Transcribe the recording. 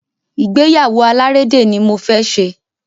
Ìgbéyàwó alárédè ní mo fẹ ṣe.